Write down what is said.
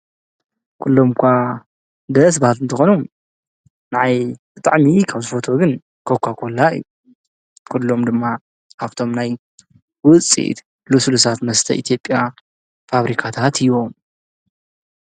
ኲሎምኳ ደስ ባትእንተኾኑ ንኣይ ኽጥዕሚዪ ካብ ዝፈቶ ግን ከኳ ኮላ እዩ ኲሎም ድማ ሃብቶም ናይ ውፂድ ሉሱሉሳት መስተ ኢቲብያ ፋብሪካ ታሃት እዮም።